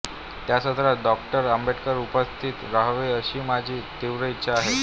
त्या सत्रात डॉ आंबेडकर उपस्थित रहावेत अशी माझी तीव्र इच्छा आहे